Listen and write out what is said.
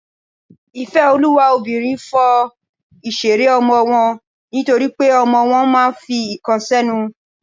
ìfẹ́olúwa obìnrin fọ ìṣeré ọmọ wọn nítorípé ọmọ wọn máà ń fi ǹkan sẹ́nu.